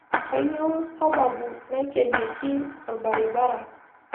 Kanyio sababu naikenieki orbaribara